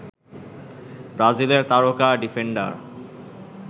ব্রাজিলের তারকা ডিফেন্ডার